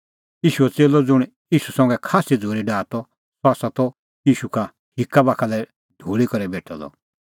ईशूओ च़ेल्लअ ज़ुंण ईशू संघै खास्सी झ़ूरी डाहा त सह त ईशूए हिक्का बाखा लै ढूल़ी करै बेठअ द